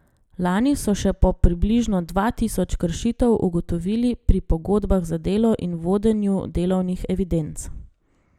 Lani so še po približno dva tisoč kršitev ugotovili pri pogodbah za delo in vodenju delovnih evidenc.